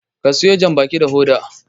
ka siyo janbaki da Hoda!